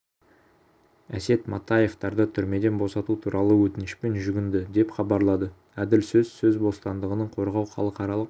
асет матаевтарды түрмеден босату туралы өтінішпен жүгінді деп хабарлады әділ сөз сөз бостандығын қорғау халықаралық